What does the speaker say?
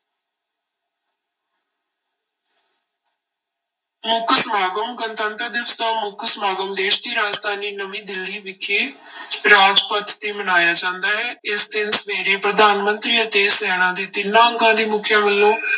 ਮੁੱਖ ਸਮਾਗਮ, ਗਣਤੰਤਰ ਦਿਵਸ ਦਾ ਮੁੱਖ ਸਮਾਗਮ ਦੇਸ ਦੀ ਰਾਜਧਾਨੀ ਨਵੀਂ ਦਿੱਲੀ ਵਿਖੇ ਰਾਜਪਥ ਤੇ ਮਨਾਇਆ ਜਾਂਦਾ ਹੈ, ਇਸ ਦਿਨ ਸਵੇਰੇ ਪ੍ਰਧਾਨ ਮੰਤਰੀ ਅਤੇ ਸੈਨਾ ਦੇ ਤਿੰਨਾਂ ਅੰਗਾਂ ਦੇ ਮੁੱਖੀਆਂ ਵੱਲੋਂ